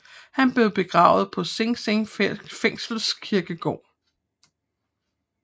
Han blev begravet på Sing Sing fængsels kirkegård